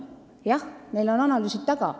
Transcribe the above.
Jah, neil on analüüsid taga.